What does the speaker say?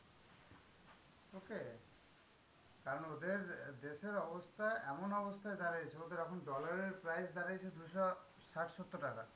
Okay কারণ ওদের দেশের অবস্থা এমন অবস্থায় দাঁড়িয়েছে? ওদের এখন dollar এর price দাঁড়াইছে দুশো ষাট-সত্তর টাকা।